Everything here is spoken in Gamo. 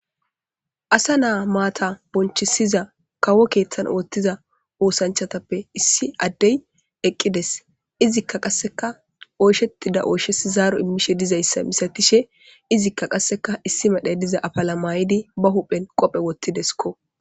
asa naa maata bonchisiza kawo keeththan oottiza oosanchatappe issi addey eqqides izikka qasseka oyshettida ooshesi zaaro immishe dizayssa misatishe izikka qasseka issi medhe diza afala maayidi ba huphen qophe wottideskko